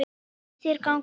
Hvernig fannst þér ganga?